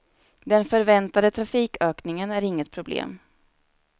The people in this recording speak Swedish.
Den förväntade trafikökningen är inget problem.